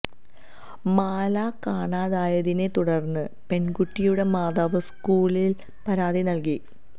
മാല കാണാതായതിനെ തുടര്ന്ന് പെണ്കുട്ടിയുടെ മാതാവ് സ്കൂളില് പരാതി നല്കി